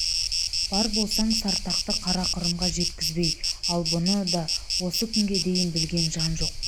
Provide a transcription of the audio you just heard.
бар болсаң сартақты қарақұрымға жеткізбей ал бұны да осы күнге дейін білген жан жоқ